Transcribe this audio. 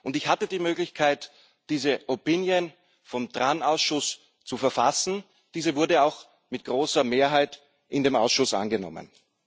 Ich hatte die Möglichkeit, die Stellungnahme des TRAN Ausschusses zu verfassen. Diese wurde auch mit großer Mehrheit in dem Ausschuss angenommen.